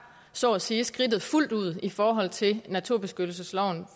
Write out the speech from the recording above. så at sige skridtet fuldt ud i forhold til naturbeskyttelsesloven